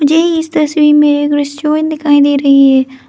ये इस तस्वीर में एक रेस्टोरेंट दिखाई दे रही है।